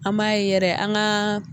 An m'a yɛrɛ an gaa